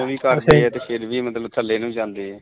ਕੰਮ ਵੀ ਕਰਦੇ ਫਿਰ ਵੀ ਮਤਲਬ ਥੱਲੇ ਨੂੰ ਜਾਂਦੇ ਐ